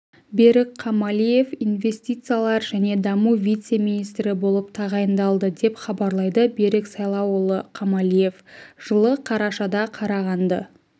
берік қамалиев инвестициялар және даму вице-министрі болып тағайындалды деп хабарлайды берік сайлауұлы қамалиев жылы қарашада қарағанды